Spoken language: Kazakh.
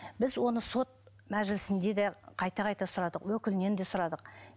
біз оны сот мәжілісінде де қайта қайта сұрадық өкілінен де сұрадық